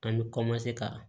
An bɛ ka